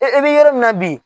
I bɛ yɔrɔ min na bi